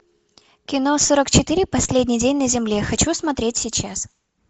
кино сорок четыре последний день на земле хочу смотреть сейчас